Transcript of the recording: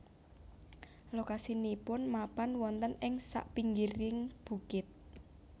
Lokasinipun mapan wonten ing sak pinggiring bukit